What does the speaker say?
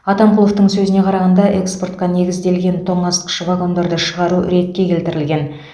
атамқұловтың сөзіне қарағанда экспортқа негізделген тоңазытқыш вагондарды шығару ретке келтірілген